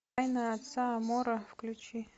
тайна отца амаро включи